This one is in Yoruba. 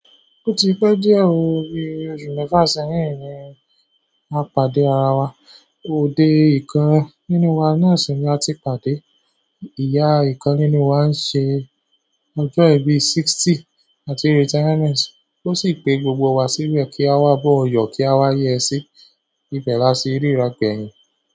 Ó ti pẹ́ díẹ̀ ó bí oṣù mẹ́fà sẹ́yìn ni a pàdé ara wa, òde ìkan nílu wa náà sì ni a ti pàdé. Ìyá ìkan nínú wa ń ṣe ọjọ́ ìbí ọgọ́ta àti retirement ó sì pe gbogbo wa síbẹ̀ kí a wá boun yọ́, kí a wá yẹ sí ibe láti ríra obeying.